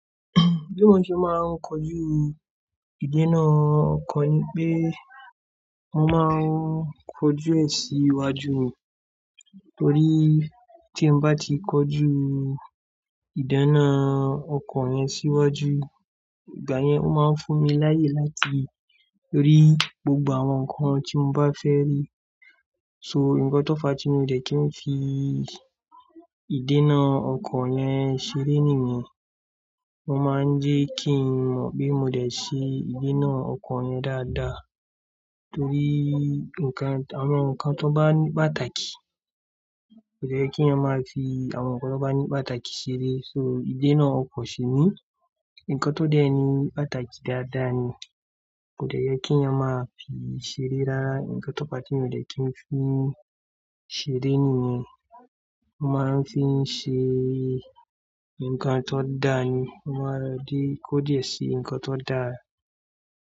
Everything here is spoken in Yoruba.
Bí mo ṣe máa ń kojú ìdénà ọkọ̀ ni pé mo máa ń kojú ẹ̀ sí iwájú, torí tí mo bá ti kojú ìdáná ọkọ̀ yẹn síwájú, ìgbà yẹn ó máa ń fún mi láyè láti rí gbogbo àwọn nǹkan tí mo bá fẹ́ rí. So, nǹkan tó fa tí mo dẹ̀ kí n fi ìdénà ọkọ̀ yẹn ṣeré nìyẹn. Mo máa ń jẹ́ kí n mọ̀ pé mo dẹ̀ sí ìdénà ọkọ̀ yẹn dáadáa torí nǹkan, àwọn nǹkan tó bá ní pàtàkì kò de ye ki eeyan máa fi àwọn nǹkan tó bá ní pàtàkì ṣere. So ìdénà ọkọ̀ ṣí ni nǹkan tó de ni, pàtàkì dáadáa ni. Kò de ye ki eeyan máa fi ṣeré rara. Ǹkan tó fa tí mi o dẹ̀ kí n fi ṣeré nìyẹn. Mo máa ń fi ṣe nǹkan tó dáa ni. Mo máa ń dé kódìẹ́ sí nǹkan tó dáa.